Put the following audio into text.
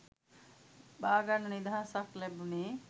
බාගන්න නිදහසක් ලැබුනේ.